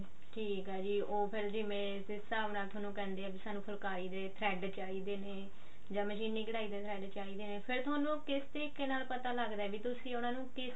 ਠੀਕ ਆ ਜੀ ਉਹ ਫ਼ੇਰ ਜਿਵੇਂ ਜਿਸ ਹਿਸਾਬ ਨਾਲ ਥੋਨੂੰ ਕਹਿੰਦੇ ਆ ਵੀ ਸਾਨੂੰ ਫੁਲਕਾਰੀ ਦੇ thread ਚਾਹੀਦੇ ਨੇ ਜਾਂ ਮਸ਼ੀਨੀ ਕਢਾਈ ਦੇ thread ਚਾਹੀਦੇ ਨੇ ਫ਼ੇਰ ਤੁਹਾਨੂੰ ਕਿਸ ਤਰੀਕੇ ਨਾਲ ਪਤਾ ਲੱਗਦਾ ਤੁਸੀਂ ਉਹਨਾ ਨੂੰ ਕਿਸ